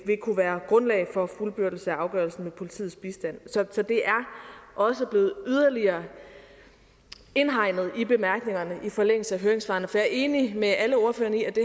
vil kunne være grundlag for fuldbyrdelse af afgørelsen med politiets bistand så det er også blevet yderligere indhegnet i bemærkningerne i forlængelse af høringssvarene for jeg er enig med alle ordførerne i at det